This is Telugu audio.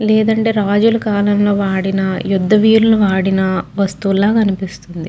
లేదంటే రాజుల కాలంలో వాడిన యుద్ద వీరులు వాడిన వస్తువులు లాగా అనిపిస్తుంది.